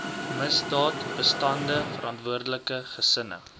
misdaadbestande verantwoordelike gesinne